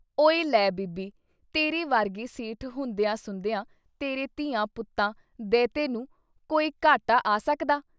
ਓਏ ਲੈ ਬੀਬੀ ! ਤੇਰੇ ਵਰਗੇ ਸੇਠ ਹੁੰਦਿਆਂ ਸਹੁੰਦਿਆਂ ਤੇਰੇ ਧੀਆਂ, ਪੁੱਤਾਂ, ਦ੍ਹੇਤੇ ਨੂੰ ਕੋਈ ਘਾਟਾ ਆ ਸਕਦਾ।